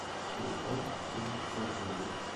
телефон цум барнаул